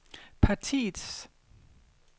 partiets